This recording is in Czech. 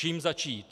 Čím začít?